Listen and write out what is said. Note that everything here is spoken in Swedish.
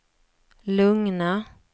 lugna